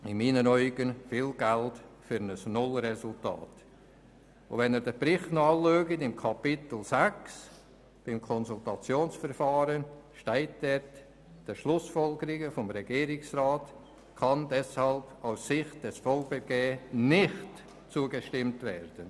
Dies ist aus meiner Sicht viel Geld für ein Null-Resultat, und unter dem Kapitel Konsultationsverfahren steht im Bericht, dass der Verband Bernischer Gemeinden (VGB) den Schlussfolgerungen des Regierungsrats deshalb nicht zustimmen kann.